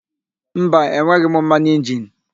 Mba, enweghị m mmanụ injini.